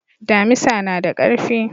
Damisa na da karfi.